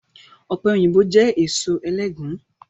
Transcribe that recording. Ọpẹ́yinbo jẹ́ èso ẹlẹgùn